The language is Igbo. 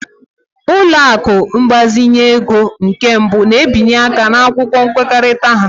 Ụlọ akụ ịgbazinye ego nke mbụ na-abinye aka n'akwụkwọ nkwekọrịta ha.